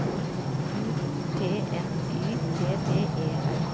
U T N Y T T E R